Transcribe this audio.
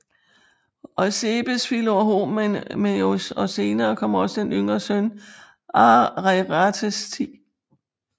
Eusebes Filorhomaios og senere kom også den yngre søn Ariarathes 10